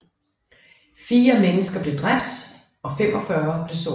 Fire mennesker blev dræbt og 45 blev såret